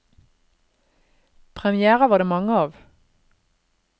Premièrer var det mange av.